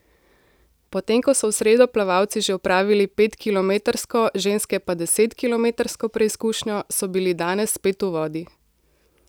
Potem ko so v sredo plavalci že opravili petkilometrsko, ženske pa desetkilometrsko preizkušnjo, so bili danes spet v vodi.